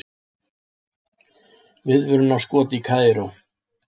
Viðvörunarskot í Kaíró